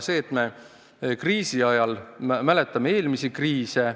Me mäletame eelmisi kriise.